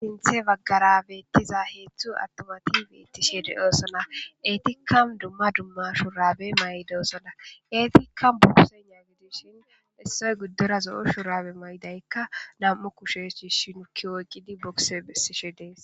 Sinththe baggara beeththiza heezzu aththumathi beeththishee de7oosona; eethikka dumma dumma shuraabe maayidosona; eethikka heezza gidishin issoy giddora zo7o shuraba mayzaykka nam7u kushe shiishshi nukki oyqqidi bokise bessishe de7ees.